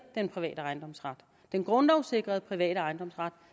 den private ejendomsret den grundlovssikrede private ejendomsret